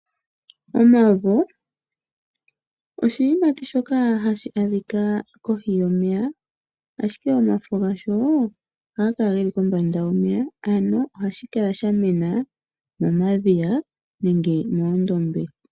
Omavo, oshiyimati shoka hashi adhika kohi yomeya ashike omafo gasho ohaga kala geli kombanda yomeya . Ano ohashi kala shamena momadhiya nenge moondombe.